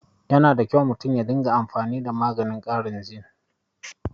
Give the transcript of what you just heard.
Yana da kyau mutum ya rika amfani da maganin karin jin